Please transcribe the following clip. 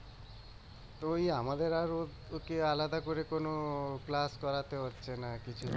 তো ওই আমাদের আর ওর ওকে আলাদা করে কোনো করাতে হচ্ছে না কিছু